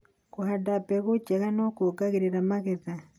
Kũhanda mbegũ njega nĩ kuongagĩrĩra magetha.